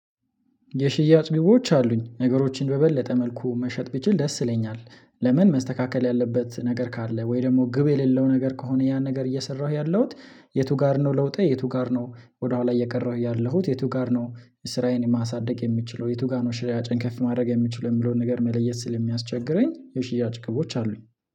የሽያጭ ግቦች አሉኝ ነገሮችን በበለጠ መልኩ መሸጥ ብችል ደስ ይለኛል። ለምን መስተካከል ያለበት ነገር ካለ ወይ ደግሞ ግብ የሌለው ነገር ከሆነ ያን ነገር እየሰራሁ ያለሁት። የቱ ጋር ነው? ለውጤ የቱ ጋር ነው? ወደኋላ እየቀራሁ ያለሁት የቱ ጋር ነው? ስራዬን ማሳደግ የሚችለው የቱ ጋር ነው? ሽያጬን ከፍ ማድረግ የምችለው የሚለውን ነገር መለየት ስል የሚያስቸግረኝ የሽያጭ ግቦች አሉኝ